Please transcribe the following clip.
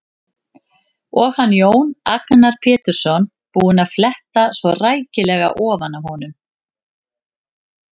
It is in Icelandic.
Og hann, Jón Agnar Pétursson, búinn að fletta svona rækilega ofan af honum!